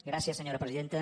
gràcies senyora presidenta